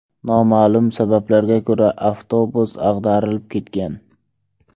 Noma’lum sabablarga ko‘ra, avtobus ag‘darilib ketgan.